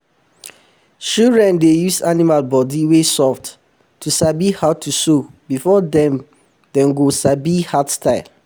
shidren dey use animal bodi wey soft to sabi how to sew before dem before dem go come sabi hard style